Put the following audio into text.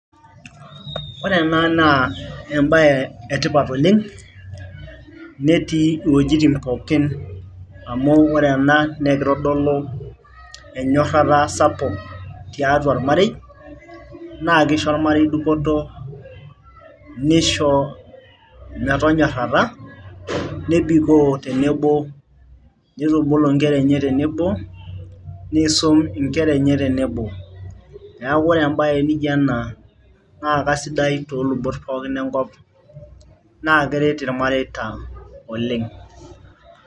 ore ena naa embaye etipat oleng netii iwojitin pookin amu ore ena neekitodolu enyorrata sapuk tiatua ormarei naa kisho ormarei dupoto nisho metonyorrata nebikoo tenebo nitubulu inkera enye tenebo niisum inkera enye tenebo neeku ore embaye nijo ena naa kasidai toolubot pookin enkop naa keret irmareita oleng.